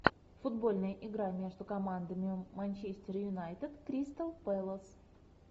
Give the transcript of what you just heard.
футбольная игра между командами манчестер юнайтед кристал пэлас